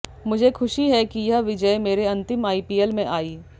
मुझे खुशी है कि यह विजय मेरे अंतिम आईपीएल में आई